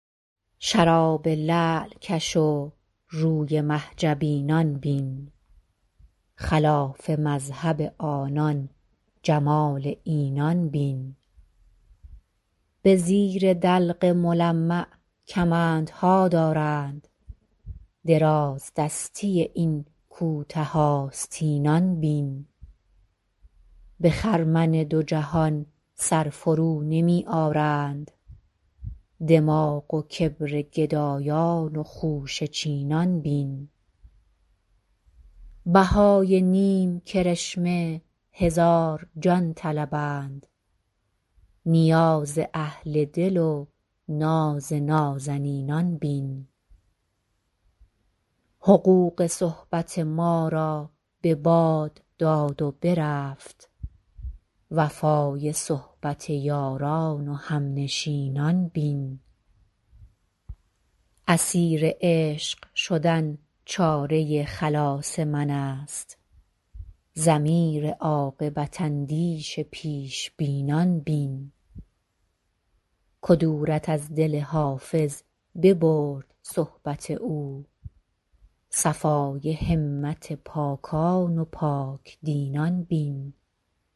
شراب لعل کش و روی مه جبینان بین خلاف مذهب آنان جمال اینان بین به زیر دلق ملمع کمندها دارند درازدستی این کوته آستینان بین به خرمن دو جهان سر فرونمی آرند دماغ و کبر گدایان و خوشه چینان بین بهای نیم کرشمه هزار جان طلبند نیاز اهل دل و ناز نازنینان بین حقوق صحبت ما را به باد داد و برفت وفای صحبت یاران و همنشینان بین اسیر عشق شدن چاره خلاص من است ضمیر عاقبت اندیش پیش بینان بین کدورت از دل حافظ ببرد صحبت دوست صفای همت پاکان و پاک دینان بین